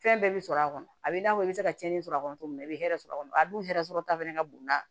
Fɛn bɛɛ bɛ sɔrɔ a kɔnɔ a bɛ i n'a fɔ i bɛ se ka cɛnni sɔrɔ a kɔnɔ cogo min na i bɛ hɛrɛ sɔrɔ a kɔnɔ a dun hɛrɛ sɔrɔ ta fana ka bon n'a ye